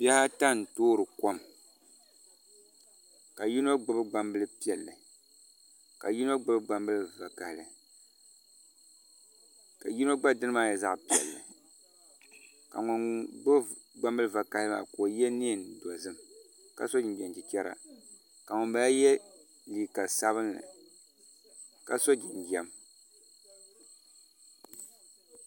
Bihi ata n toori kom ka yino gbubi gbambili piɛlli ka yino gbubi gbambili vakaɣali ka yino gba dini nyɛ zaɣ piɛlli ka ŋun gbubi gbambili vakaɣali maa ka o yɛ neen dozim ka so jinjɛm chichɛra ka ŋunbala yɛ liiga sabinli ka so jinjɛm